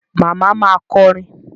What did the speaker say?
Màmá ma kọrin.